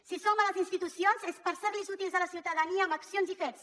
si som a les institucions és per ser útils a la ciutadania amb accions i fets